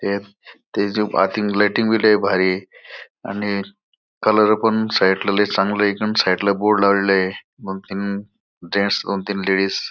lighting बी ले भारी ये आणि कलर पण साइड ला ले चांगलाय एकदम साइड ला बोर्ड लावलेला ये दोन तीन जेन्टस दोन तीन लेडीज --